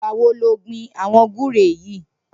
Nigbâ wó ló gbin awọn gbùré yi?